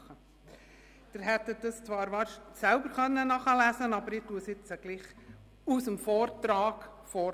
Sie hätten das zwar selber dem Vortrag entnehmen können, aber ich lese es jetzt trotzdem vor.